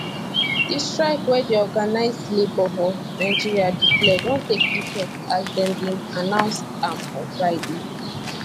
di strike wey di organized labour for nigeria declare don take effect as dem bin announce am on friday